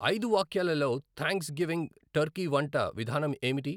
ఐదు వాక్యాలలో Thanksgiving turkey వంట విధానం ఏమిటి